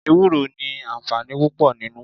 Ewúro ni àǹfààní púpò nínú.